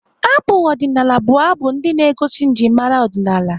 Abụ ọdịnaala bụ abụ ndị na-egosi njimara ọdịnaala.